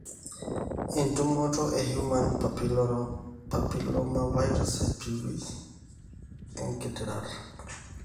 entumoto e human papillomavirus (HPV) engitirata.